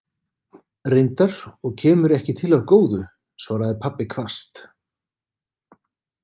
Reyndar, og kemur ekki til af góðu, svaraði pabbi hvasst.